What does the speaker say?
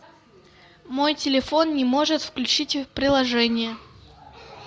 мой телефон не может включить приложение